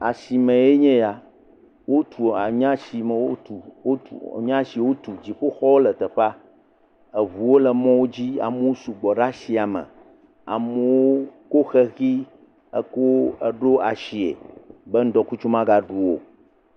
Asi mee nye ya. Wotu wo nye asi wo tu. Dziƒoxɔwo le teƒea. Eŋuwo le mɔwo dzi. Amewo su gbɔ ɖe asia me. Amewo ko xexi kɔ ɖo asie be ŋdɔkutsu maga ɖu wo o.